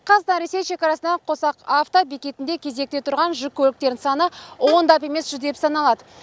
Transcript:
қазақстан ресей шекарасында қосақ авто бекетінде кезекте тұрған жүк көліктерінің саны ондап емес жүздеп саналады